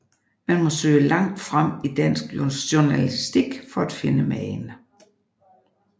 Man må søge langt frem i dansk journalistik for at finde magen